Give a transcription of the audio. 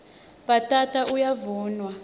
bhatata uyavunwa